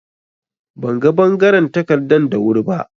Ban ga bangaren takardan da wuri ba.